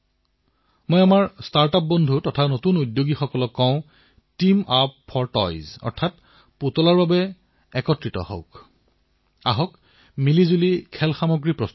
আজি যেতিয়া আমি দেশক আত্মনিৰ্ভৰশীল কৰি তোলাৰ প্ৰয়াস কৰিছো আমি সম্পূৰ্ণ আত্মবিশ্বাসৰ সৈতে আগবাঢ়িব লাগিব প্ৰতিটো ক্ষেত্ৰত দেশক আত্মনিৰ্ভৰ কৰি তুলিব লাগিব